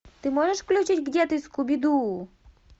ты можешь включить где ты скуби ду